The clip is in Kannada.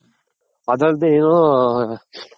ಅದಲ್ದೇ ಏನು